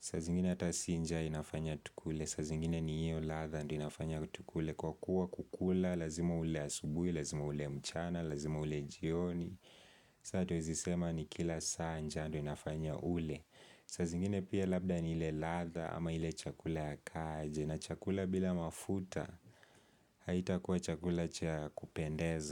Saa zingine ata sii nja inafanya tukule. Saa zingine ni hiyo ladha ndio inafanya tukule kwa kuwa kukula, lazima ule asubuhi, lazima ule mchana, lazima ule jioni. Sasa hatuwezi sema ni kila saa njaa ndio inafanya ule. Saa zingine pia labda ni ile ladha ama ile chakula inaka aje na chakula bila mafuta haitakuwa chakula ya kupendeza.